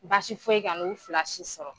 Baasi foyi kan'u fila si sɔrɔ